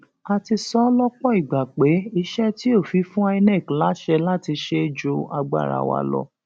a ti sọ ọ lọpọ ìgbà pé iṣẹ tí òfin fún inec láṣẹ láti ṣe ju agbára wa lọ